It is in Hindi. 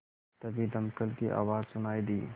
तभी दमकल की आवाज़ सुनाई दी